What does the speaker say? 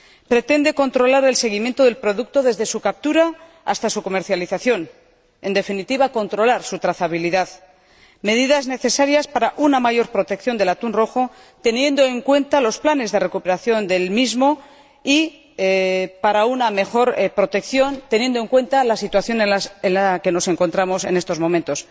Pretende controlar el seguimiento del producto desde su captura hasta su comercialización en definitiva, controlar su trazabilidad medida necesaria para una mayor protección del atún rojo, teniendo en cuenta los planes de recuperación del mismo, y para una mejor protección, considerando la situación en la que nos encontramos en estos momentos.